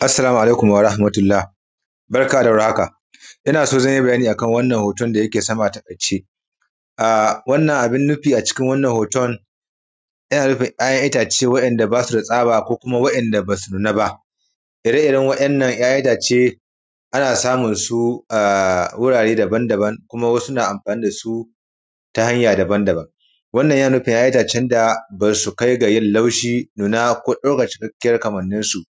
assalamu alaikum warahmatullah barka da war haka ina so zan yi bayani a kan wannan hoton da yake sama a taƙaice a wannan abin nufi a cikin wannan hoton yana nufin ‘ya’yan itace wa’inda ba su da tsaba ko kuma wa’inda ba su nuna ba ire iren wa’innan ‘ya’yan itace ana samun su a wurare daban daban kuma wasu na amfani da su ta hanya daban daban wannan yana nufin ‘ya’yan itace da ba su kai ga yin laushi nuna ko ɗaukan cikakkiyan kamannin su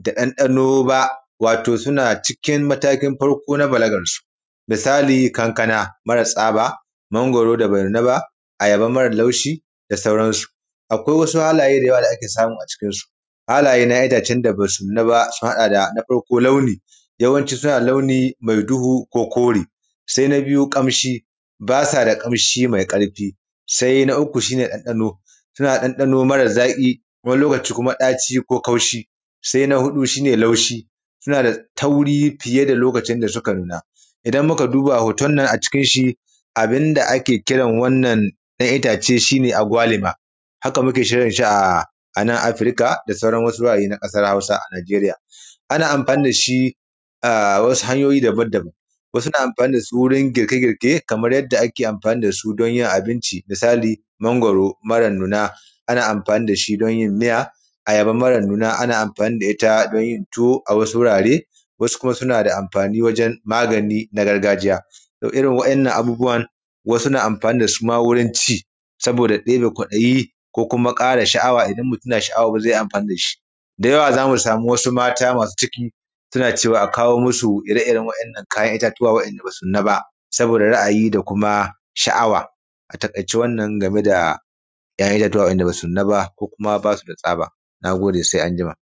da ɗandano ba wato suna cikin matakin farko na balagar su misali kankana mara tsaba mangwaro da be nuna ba ayaba mara laushi da sauran su akwai wasu halaye da yawa da ake samu a cikin su halaye na ‘ya’yan itace da ba su nuna ba sun haɗa da na farko launi yawanci suna dah launi mai duhu ko kore sai na biyu ƙamshi ba sa da ƙamshi mai ƙarfi sai na uku shine ɗanɗano ta na da ɗanɗano mara zaƙi wani lokaci kuma daci ko kaushi sai na huɗu shine laushi suna suna da tauri fiye da lokacin da suka nuna idan muka duba hoton nan a cikin shi abin da ake kiran wannan ɗan itace shine agwalima haka muke kiran shi a nan afirka da sauran wasu wurare na ƙasar hausa a najeriya ana amfani da shi a wasu hanyoyi daban daban wasu na amfani da su wajan girke girke kamar yadda ake amfani da su don yin abinci misali mangwaro mara nuna ana amfani da shi don yin miya ayaba mara nuna ana amfani da ita don yin tuwo a wasu wurare wasu kuma suna da amfani wajan yin magani na gargajiya to irin wa’innan abubuwan wasu na amfani da su ma wurin ci saboda ƙila kwaɗayi ko kuma ƙara sha’awa idan mutum na sha’awa zai ƙara amfani da shi da yawa zamu sama wasu mata masu ciki suna cewa a kawo musu ire iren waɗannan kayan itatuwa wa’inda ba su nuna ba saboda ra’ayi da kuma sha’awa a taƙaice wannan game da ‘ya’yan itatuwa wa’inda ba su nuna ba kuma ba su da tsaba nagode sai anjima